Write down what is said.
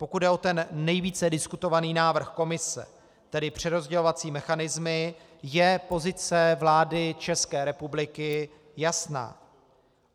Pokud jde o ten nejvíce diskutovaný návrh Komise, tedy přerozdělovací mechanismy, je pozice vlády České republiky jasná.